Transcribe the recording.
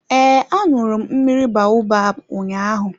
Ee, aṅụru m mmiri baobab ụnyaahụ.